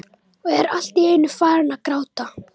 Og er allt í einu farinn að gráta.